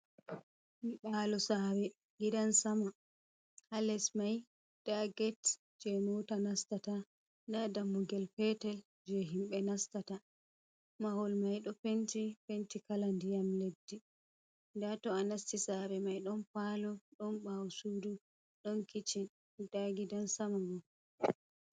"Nyiɓalo saare" gidansama ha les mai nda get je moota nastata nda dammugel petel je himɓe nastata mahol mai ɗo penti penti kala ndiyam leddi nda to a nasti saare mai ɗon palo ɗon bawo sudu ɗon kichin nda gidan sama mai.